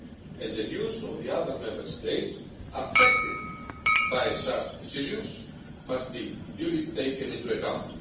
And the views of the other Member States affected by such decisions must be duly taken into account.